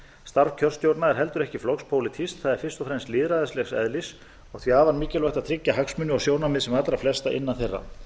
starf kjörstjórna er heldur ekki flokkspólitískt það er fyrst og fremst lýðræðislegs eðlis og því afar þýðingarmikið að tryggja hagsmuni og sjónarmið sem allra flestra innan þeirra